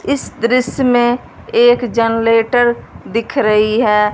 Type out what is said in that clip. इस दृश्य में एक जनरेटर दिख रही है।